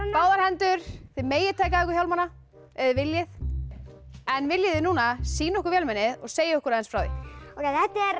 báðar hendur þið megið taka af ykkur hjálmana ef þið viljið en viljið þið núna sýna okkur vélmennið og segja okkur aðeins frá því þetta er